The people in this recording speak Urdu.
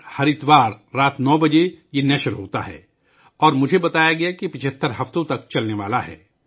یہ ہر اتوار کو رات 9 بجے دوردرشن پر نشر ہوتا ہے اور مجھے بتایا گیا کہ یہ 75 ہفتوں تک جاری رہے گا